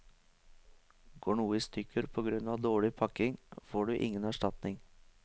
Går noe i stykker på grunn av dårlig pakking, får du ingen erstatning.